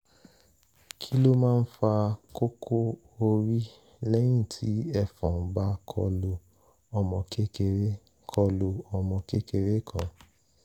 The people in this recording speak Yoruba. kí ló máa ń fa kókó orí lẹ́yìn tí ẹ̀fọn bá kọlu ọmọ kékeré kọlu ọmọ kékeré kan?